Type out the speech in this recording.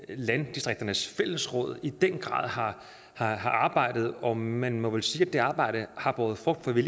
landdistrikternes fællesråd i den grad har har arbejdet og man må vel sige at det arbejde har båret frugt for vi